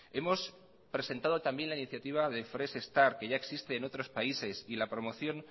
hemos presentado también la iniciativa de fresh start que ya existe en otros países y la promoción